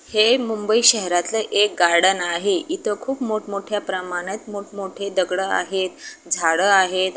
हे मुंबई शहरातल एक गार्डेन आहे इथे खूप मोठ मोठ्या प्रमाणात खूप मोठे दगड़े आहेत झाड आहेत.